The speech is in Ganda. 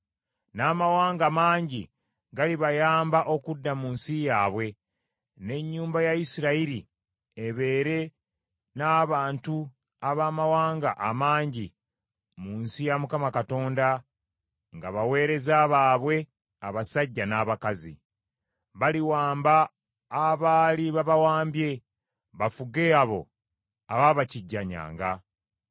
N’amawanga mangi galibayamba okudda mu nsi yaabwe, n’ennyumba ya Isirayiri ebeere n’abantu abamawanga amangi mu nsi ya Mukama Katonda, nga baweereza baabwe abasajja n’abakazi. Baliwamba abaali babawambye, bafuge abo abaabakijjanyanga.